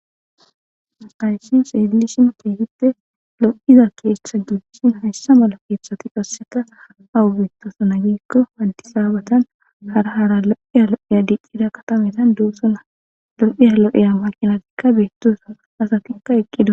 Makayishi seelishin teefite lo7iza keeshtha duddishin hashsha mala keethshati qasseta awu beettosana giikko waandisaabatan hara hara lo7iya lo7eya diicida katametan doossuna lo7iya lo7eya waqinatikka beettosa asatikka eqqidu.